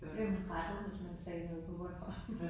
Der blev man rettet hvis man sagde noget på bornholmsk